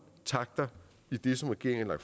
takter i det som regeringen har